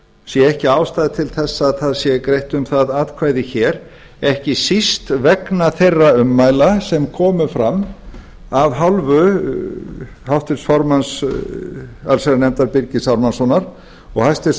sé ekki ástæðu til að það sé greitt um það atkvæði hér ekki síst vegna þeirra ummæla sem komu fram af hálfu háttvirts formanns allsherjarnefndar birgis ármannssonar og hæstvirtan